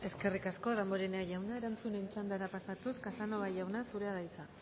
eskerrik asko damborenea jauna erantzunen txandara pasatuz casanova jauna zurea da hitza